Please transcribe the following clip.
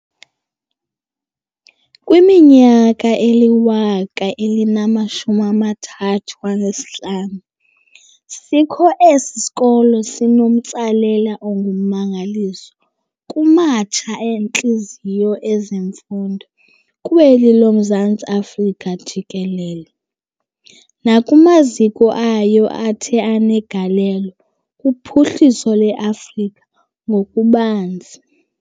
Kwiminyaka eli-135 sikho esi sikolo sibenomtsalane ongummangaliso kumatsha-ntliziyo ezemfundo kweli loMzantsi Afrika jikelele, nakumaziko ayo athe anegalelo kuphuhliso lweAfrika ngokubanzi.